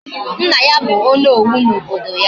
Nna ya bu Onowu na obodo ya